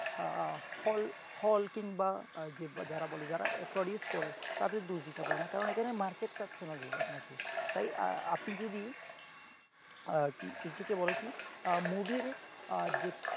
হল হল কিংবা যে যারা produce করে তাদের দোষ দিতে পারেন না কারণ এখানে market চাইছে না যে আপনাকে তাই আপনি যদি ইচ্ছেতে বলে কি movie যে